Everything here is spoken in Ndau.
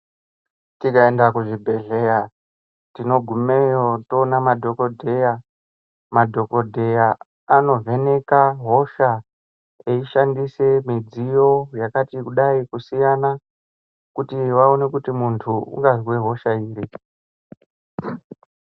Tikaenda kuzvibhedhleya tinogumeyo toona madhokodheya. Madhokodheya anovheneka hosha eishandise midziyo yakati kudai kusiyana kuti vaone kuti muntu ungazwe hosha iri.